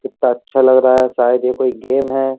कित्ता अच्छा लग रहा है शायद ये कोई गेम है।